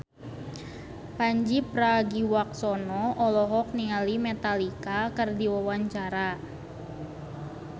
Pandji Pragiwaksono olohok ningali Metallica keur diwawancara